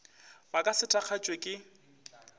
ba ka se thakgatšwe ke